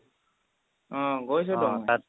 অ' গৈছো ত মই